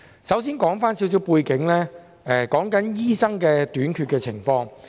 首先，我要指出少許背景，是有關醫生短缺的情況。